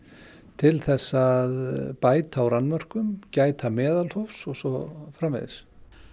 til þess að bæta úr annmörkum gæta meðalhófs og svo framvegis